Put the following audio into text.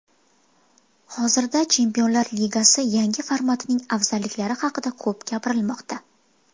Hozirda Chempionlar Ligasi yangi formatining afzalliklari haqida ko‘p gapirilmoqda.